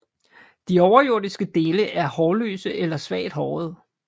De overjordiske dele er hårløse eller svagt hårede